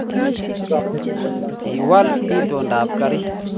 kiwal itondab karit